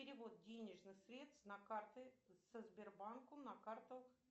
перевод денежных средств на карты со сбербанку на карту